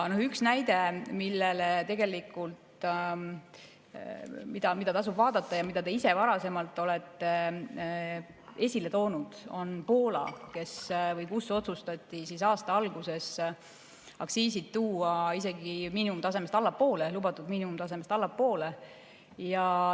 Üks näide, mida tasub vaadata ja mida te ise varem olete esile toonud, on Poola, kus otsustati aasta alguses tuua aktsiisid lubatud miinimumtasemest isegi allapoole.